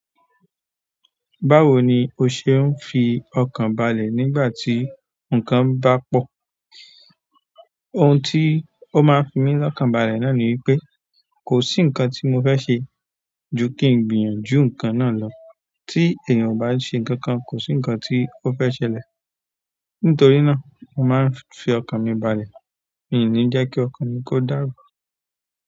Báwo ni o ṣe ń fi ọkàn balẹ̀ nígbà tí nǹkan bá pọ̀? Ohun tí ó máa ń fi mí lọ́kàn balẹ̀ náà ni wípé, kò sí nǹkan tí mo fẹ́ ṣe ju kí n gbìyànjú nǹkan náà lọ. Tí èèyàn ò bá se ǹkan kan, kò sí ǹkan tí ó fẹ́ ṣẹlẹ̀. Nítorí náà, o máa ń fi ọkàn mi balẹ̀. Mi ò ní jẹ́ kí ọkàn mi kó dàrú.